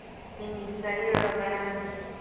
ಹ್ಮ್ ಸರಿ ಹೇಳು ಬರಣಂತೆ.